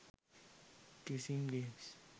kissing games